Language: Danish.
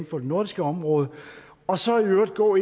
for det nordiske område og så i øvrigt gå